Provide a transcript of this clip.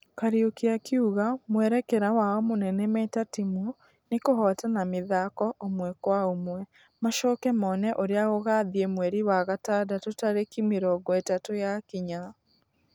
Kariuki akĩuga mwerekera wao mũnene meta timũ nĩkũhotana mĩthako ũmwekwaũmwe . Macoke mone ũrĩa gũgathie mweri wa gatandatũ tarĩki mĩrongo ĩtatu yakinya.